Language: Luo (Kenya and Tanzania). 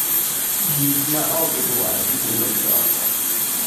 Gik ma ok gidwar gibologi oko.